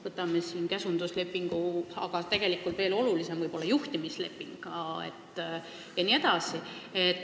Võtame näiteks käsunduslepingu, aga tegelikult veel olulisem võib olla juhtimisleping jne.